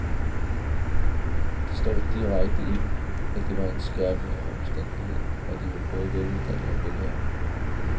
Det står direkte i dem, at det var en skærpende omstændighed, at de var både veluddannede og velhavende.